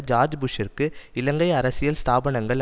George புஷ்ஷிற்கு இலங்கை அரசியல் ஸ்தாபனங்கள்